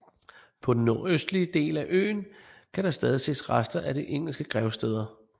På den nordøstlige del af øen kan der stadig ses rester af de engelske gravsteder